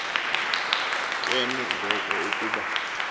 ke ngoko ukuba